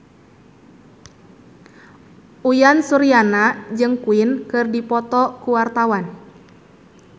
Uyan Suryana jeung Queen keur dipoto ku wartawan